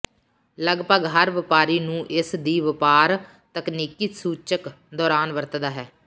ਲਗਭਗ ਹਰ ਵਪਾਰੀ ਨੂੰ ਇਸ ਦੀ ਵਪਾਰ ਤਕਨੀਕੀ ਸੂਚਕ ਦੌਰਾਨ ਵਰਤਦਾ ਹੈ